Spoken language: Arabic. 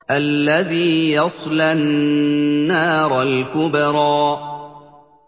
الَّذِي يَصْلَى النَّارَ الْكُبْرَىٰ